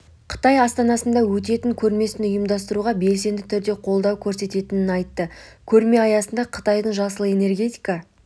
қытай астанада өтетін көрмесін ұйымдастыруға белсенді түрде қолдау көрсететінін айтты көрме аясында қытайдың жасыл энергетика